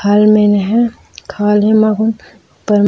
फल मेन है खाली --